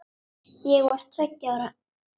Ég var tveggja ára.